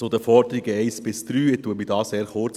Zu den Forderungen 1 bis 3 fasse ich mich sehr kurz;